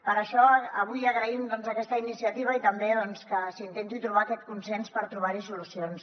per això avui agraïm aquesta iniciativa i també que s’intenti trobar aquest consens per trobarhi solucions